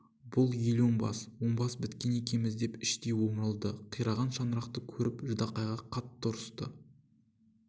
бұл ел оңбас оңбас біткен екенбіз деп іштей омырылды қираған шаңырақты көріп ждақайға қатты ұрысты